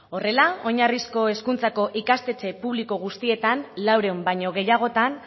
horrela oinarrizko hezkuntzako ikastetxe publiko guztietan laurehun baino gehiagotan